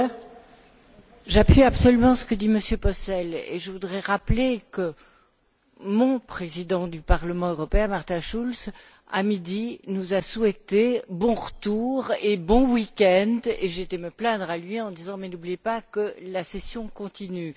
Madame la Présidente, j'appuie absolument ce que dit M. Posselt. Je voudrais rappeler que mon Président du Parlement européen, Martin Schulz, à midi, nous a souhaité bon retour et bon week end et j'ai été me plaindre à lui en disant Mais n'oubliez pas que la session continue..